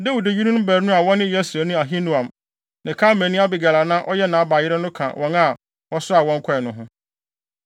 Dawid yerenom baanu a wɔne Yesreelni Ahinoam ne Karmelni Abigail a na ɔyɛ Nabal yere no ka wɔn a wɔsoaa wɔn kɔe no ho.